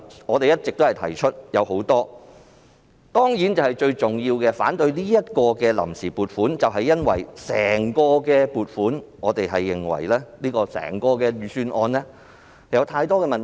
我們提出了很多反對理由，而反對這項臨時撥款建議的最重要原因，是我們認為整份預算案有太多問題。